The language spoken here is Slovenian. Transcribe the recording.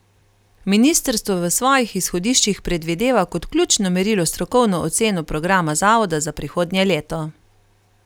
Ministrstvo v svojih izhodiščih predvideva kot ključno merilo strokovno oceno programa zavoda za prihodnje leto.